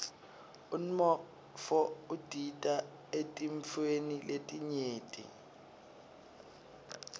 umnotfo udita eetintfweni letinyenti